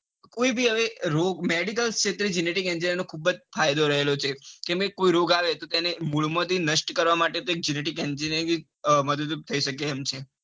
કોઈબી અને રોગ medical ક્ષેત્રે genetic engineering નો ખુબ જ ફાયદો રહેલો છે જેમકે કોઈ રોગ આવે તો મૂળમાંથી નષ્ટ કરવા માટે એક genetic engineering મદદરૂપ થઇ શકે એમ છે.